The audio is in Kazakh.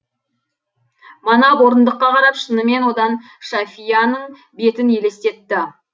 манап орындыққа қарап шынымен одан шафияның бетін елестетті